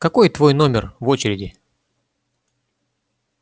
какой твой номер в очереди